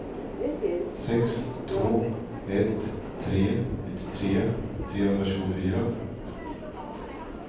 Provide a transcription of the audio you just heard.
sex två ett tre nittiotre trehundratjugofyra